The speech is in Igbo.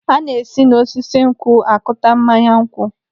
Ana esi n'osisi nkwụ akụta mmanya nkwụ.